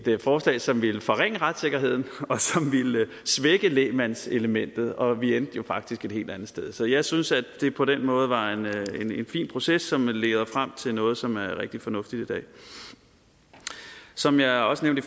forslag som ville forringe retssikkerheden og som ville svække lægmandselementet og vi endte jo faktisk et helt andet sted så jeg synes at det på den måde var en fin proces som leder frem til noget som er rigtig fornuftigt som jeg også nævnte